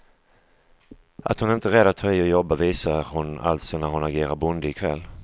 Att hon inte är rädd att ta i och jobba, visar hon alltså när hon agerar bonde i kväll.